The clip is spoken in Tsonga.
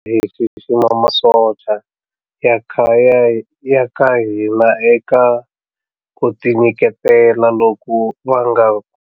Hi xixima masocha ya ka hina eka ku tinyiketela loku va nga.